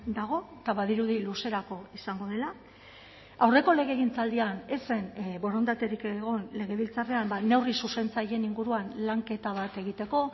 dago eta badirudi luzerako izango dela aurreko legegintzaldian ez zen borondaterik egon legebiltzarrean neurri zuzentzaileen inguruan lanketa bat egiteko